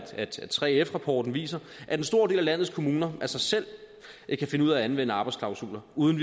3f rapporten viser at en stor del af landets kommuner af sig selv kan finde ud af at anvende arbejdsklausuler uden